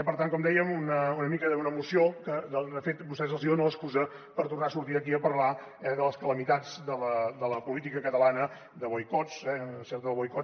per tant com dèiem una moció que de fet a vostès els dona l’excusa per tornar a sortir aquí a parlar eh de les calamitats de la política catalana de boicots sempre del boicot